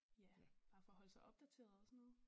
Ja bare for at holde sig opdateret og sådan noget